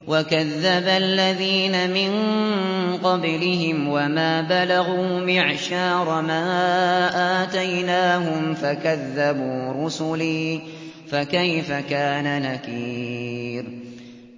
وَكَذَّبَ الَّذِينَ مِن قَبْلِهِمْ وَمَا بَلَغُوا مِعْشَارَ مَا آتَيْنَاهُمْ فَكَذَّبُوا رُسُلِي ۖ فَكَيْفَ كَانَ نَكِيرِ